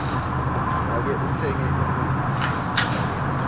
make utsenge inkhukhu emakethe